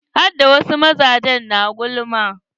Hada wasu mazaje na gulma.